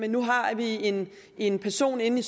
nu har vi en en person inde i